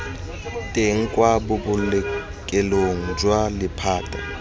teng kwa bobolokelong jwa lephata